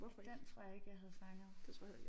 Den tror jeg ikke jeg havde fanget